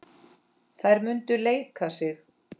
Þær munu leika sig.